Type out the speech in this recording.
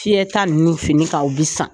Fiyɛ ta nunnu fini kan u bi san.